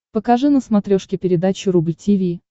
покажи на смотрешке передачу рубль ти ви